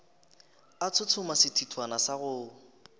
a tshotshoma sethithwana sa go